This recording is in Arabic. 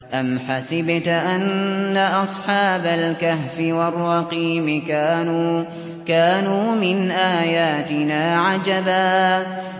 أَمْ حَسِبْتَ أَنَّ أَصْحَابَ الْكَهْفِ وَالرَّقِيمِ كَانُوا مِنْ آيَاتِنَا عَجَبًا